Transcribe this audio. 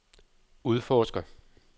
udforsker